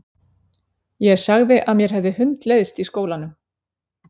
Ég sagði að mér hefði hundleiðst í skólanum!